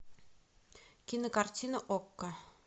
кинокартина окко